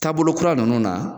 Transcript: Taabolo kura ninnu na